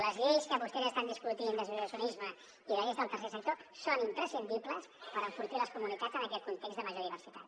les lleis que vostès estan discutint d’associacionisme i de lleis del tercer sector són imprescindibles per enfortir les comunitats en aquest context de major diversitat